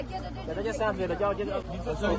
Hə gəlib versən ver gəl gəl gəl.